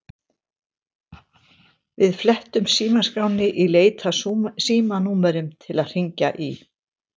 Við flettum símaskránni í leit að símanúmerum til að hringja í.